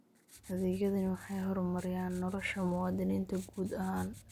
Adeegyadani waxay horumariyaan nolosha muwaadiniinta guud ahaan.